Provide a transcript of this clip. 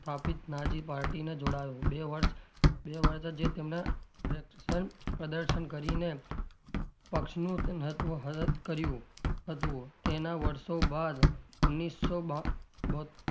સ્થાપિત Nazi party ને જોડાયો બે વર્ષ પ્રદર્શન કરીને પક્ષનું કર્યું હતું તેનાં વર્ષો બાદ ઓગણીસો બા બો,